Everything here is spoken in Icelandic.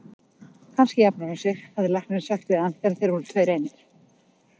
Kannski jafnar hún sig, hafði læknirinn sagt við hann þegar þeir voru tveir einir.